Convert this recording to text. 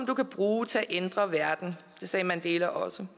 du kan bruge til at ændre verden det sagde mandela også